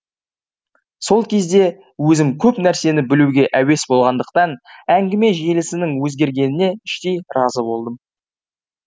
сол кезде өзім көп нәрсені білуге әуес болғандықтан әңгіме желісінің өзгергеніне іштей разы болдым